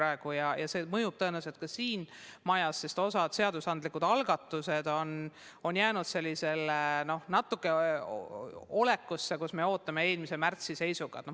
See annab tõenäoliselt tunda ka siin majas, sest osa seadusandlikke algatusi on märtsi seisuga natuke ootele jäänud.